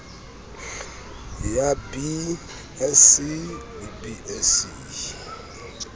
ya b sc b sc